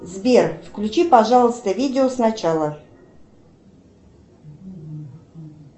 сбер включи пожалуйста видео сначала